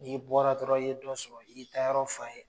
N'i bɔra dɔrɔn i ye dɔ sɔrɔ, i y'i taa yɔrɔ f'a ye